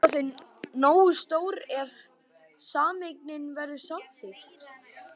En verða þau nógu stór ef sameining verður samþykkt?